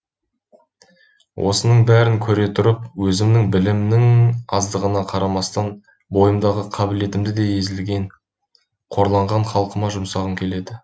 осының бәрін көре тұрып өзімнің білімімнің аздығына қарамастан бойымдағы қабілетімді езілген қорланған халқыма жұмсағым келеді